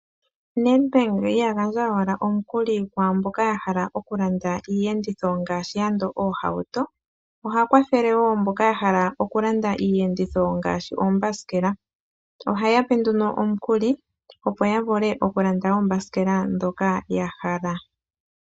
NEDBANK ihaga gandwa owala omukuli kwaamboka ya hala okulanda iiyenditho ngaashi andola ooohauto, oha kwathele wo mboka ya hala okulanda iiyenditho ngaashi uuthanguthangu. Ohaya gandja nduno omukuli, opo yavule okulanda uuthanguthangu mboka ya hala.